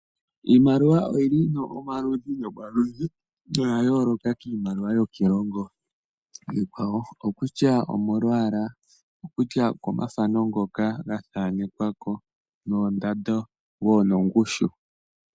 Iimaliwa oyili omaludhi nomaludhi noyayooloka kiimaliwa yokiilongo iikwawo. Oko kutya omolwaala , komafano ngoka gathanekwako, oondando oshowoo oongushu.